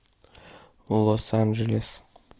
лос анджелес